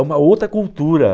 É uma outra cultura.